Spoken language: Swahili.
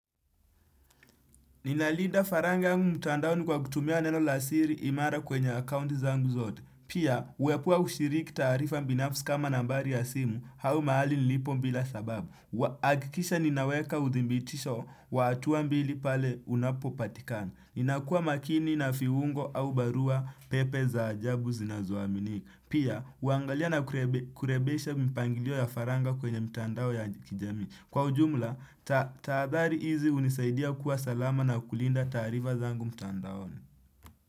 Ninalinda faranga angu mtandao ni kwa kutumia neno lasiri imara kwenye akaunti zangu zote. Pia, uepua ushiriki taarifa binafsi kama nambari ya simu, au mahali nilipo bila sababu. Akikisha ninaweka uthimbitisho wa hatua mbili pale unapo patikani. Ninakuwa makini na fiungo au barua pepe za ajabu zinazoamini. Pia, uangalia na kurebesha mpangilio ya faranga kwenye mtandao ya kijamii. Kwa ujumla, taadhari hizi unisaidia kuwa salama na kulinda taarifa zangu mtandaoni.